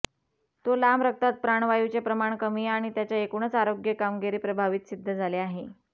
तो लांब रक्तात प्राणवायूचे प्रमाण व्यक्ती आणि त्याच्या एकूणच आरोग्य कामगिरी प्रभावित सिद्ध झाले आहे